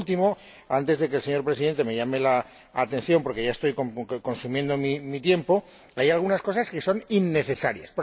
Por último —antes de que el señor Presidente me llame la atención, porque ya estoy consumiendo mi tiempo—, hay algunas cosas que son innecesarias.